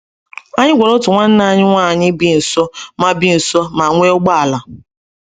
Anyị gwara otu nwanna nwanyị bi nso ma bi nso ma nwee ụgbọ ala.